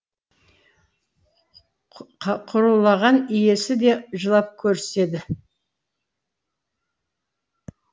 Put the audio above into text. құрулаған иесі де жылап көріседі